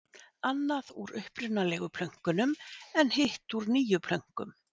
Annað úr upprunalegu plönkunum en hitt úr nýjum plönkum.